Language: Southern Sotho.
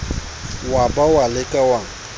wa ba wa leka wa